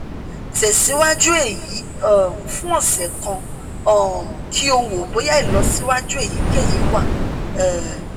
tẹsiwaju eyi um fun ọsẹ kan um ki o wo boya ilọsiwaju eyikeyi wa um